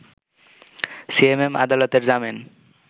CMM আদালতের জামিন